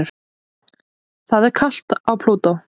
Það er kalt á Plútó.